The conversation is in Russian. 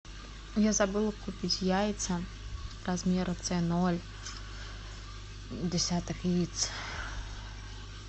я забыла купить яйца размера ц ноль десяток яиц